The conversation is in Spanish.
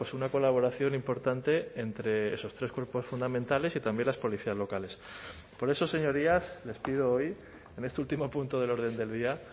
una colaboración importante entre esos tres grupos fundamentales y también las policías locales por eso señorías les pido hoy en este último punto del orden del día